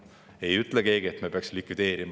Keegi ei ütle, et me peaksime midagi likvideerima.